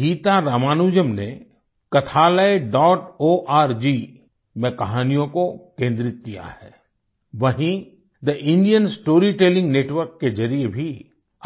गीता रामानुजन ने kathalayaorg में कहानियों को केन्द्रित किया है वहीँ थे इंडियन स्टोरी टेलिंग नेटवर्क के ज़रिये भी